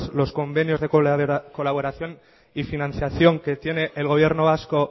los convenios de colaboración y financiación que tiene el gobierno vasco